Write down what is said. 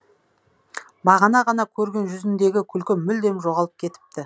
бағана ғана көрген жүзіндегі күлкі мүлдем жоғалып кетіпті